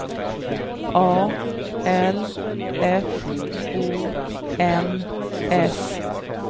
A L F O N S